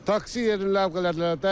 Taksi yerini ləğv elədilər.